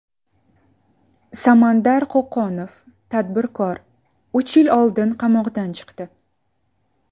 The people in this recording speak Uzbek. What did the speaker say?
Samandar Qo‘qonov, tadbirkor, uch yil oldin qamoqdan chiqdi.